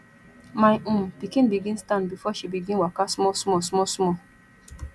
my um pikin begin stand before she begin waka small small small small